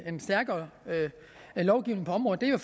en stærkere lovgivning på området er jo